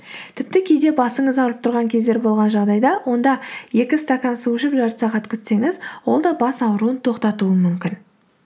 тіпті кейде басыңыз ауырып тұрған кездер болған жағдайда онда екі стакан су ішіп жарты сағат күтсеңіз ол да бас ауруын тоқтатуы мүмкін